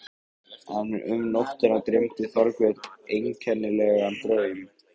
En um nóttina dreymdi Þorbjörn einkennilegan draum.